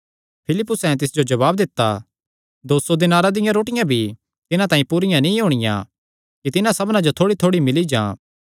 फिलिप्पुसैं तिस जो जवाब दित्ता दो सौ दीनारां दियां रोटियां भी तिन्हां तांई पूरियां नीं होणियां कि तिन्हां सबना जो थोड़ीथोड़ी मिल्ली जां